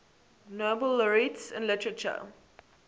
nobel laureates in literature